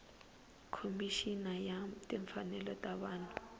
khomixini ya timfanelo ta vanhu